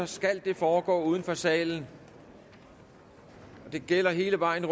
skal det foregå uden for salen og det gælder hele vejen